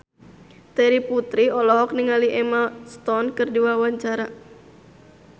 Terry Putri olohok ningali Emma Stone keur diwawancara